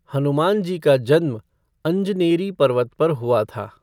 हनुमान जी का जन्म अंजनेरी पर्वत पर हुआ था।